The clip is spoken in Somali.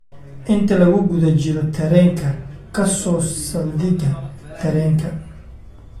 inta lagu guda jiro tareenka ka soo saldhigga tareenka